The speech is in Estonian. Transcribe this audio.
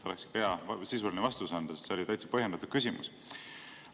Tuleks sisuline vastus anda, sest see oli täitsa põhjendatud küsimus.